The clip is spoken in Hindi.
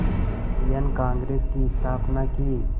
इंडियन कांग्रेस की स्थापना की